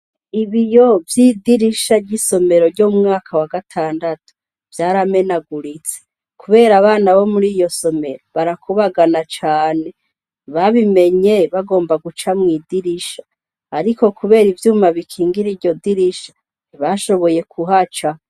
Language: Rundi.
Ibiyo vyoidirisha ry'isomero ryo mwaka wa gatandatu vyaramenaguritse, kubera abana bo muri iyo somero barakubagana cane babimenye bagomba guca mw'idirisha, ariko, kubera ivyuma bikingira iryo dirisha ntibashoboye kuhacaho.